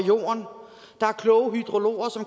når